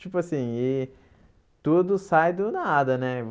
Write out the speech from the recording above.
Tipo assim, e tudo sai do nada, né?